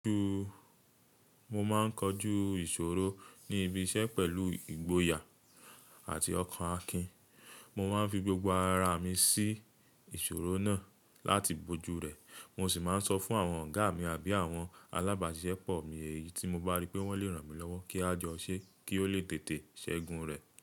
Mo máa ń kojú ìṣòro ní ibi iṣẹ́ pẹ̀lú ìgboyà àti ọkàn akin. Mo máa ń fi gbogbo ara mi sí ìṣòro náà láti bojú rẹ̀. Mo sì máa ń sọ fún àwọn ọ̀gá mi àbí àwọn alábàáṣepọ̀ mi èyí tí mo bá rí pé wọ́n le ràn mí lọ́wọ́ kí a jọ ṣẹ́ kí ó lè tètè ṣẹ́gun rẹ̀.